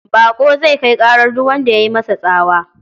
Baƙo zai kai ƙarar duk wanda ya yi masa tsawa.